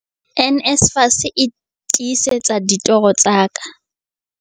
NSFAS e tiisetsa ditoro tsa ka